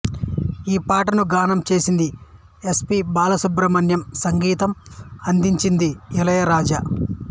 ఈ పాటను గానం చేసింది ఎస్ పి బాలసుబ్రహ్మణ్యం సంగీతం అందించింది ఇళయరాజా